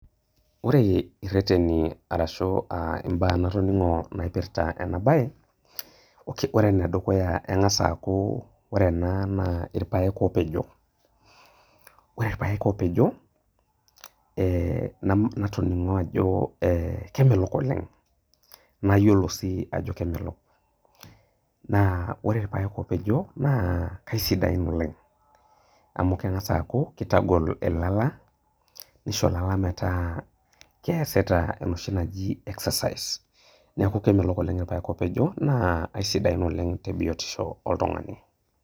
Ore ireteni ashu mbaa natoningo naipirta enabae ore enedukuya na kengasa aaku ore ena na irpaek opejo ore irpaek opejo ee natoningo ajo kemelok oleng nayiolo si ajo kemelok, naa ore irpaek opejo na kesidain oleng amu kengasa aaku kitagol ilala nisho lalametaa keasita enoshi naji exercise neaku kemelok oleng irpaek opejo naa aisidain oleng tebiotisho oltungani.